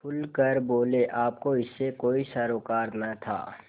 खुल कर बोलेआपको इससे कोई सरोकार न था